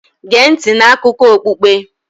Gee ntị n'akụkọ okpukpe.